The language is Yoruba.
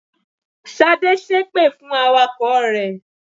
Ṣadé ṣépè fún awakọ̀ rẹ̀.